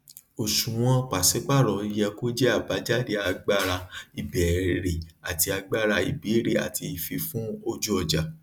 òṣùwòn pàsípàrọ yẹ kó jẹ abájáde agbára ìbéèrè àti agbára ìbéèrè àti ìfifún ojú ọjà